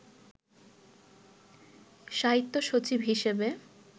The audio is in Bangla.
সাহিত্য সচিব হিসেবে